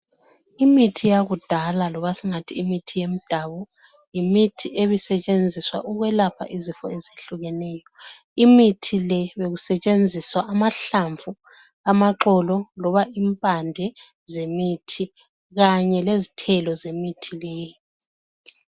Imithi yakudala loba singathi imithi ngemdawu , yimithi ebi sisetshenziswa ukwelapha izifo ezitshiyeneyo. Imithi le beyisetshenziswa amahlamvu, amaxolo loba impande zemithi kanye lezithelo zemithi leyi.